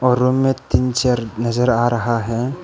और रूम में तीन चेयर नजर आ रहा है।